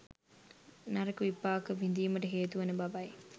නරක විපාක විඳීමට හේතුවන බවයි.